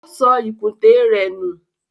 O sọ ìkùntè rẹ̀ nù.